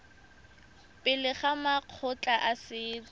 pele ga makgotla a setso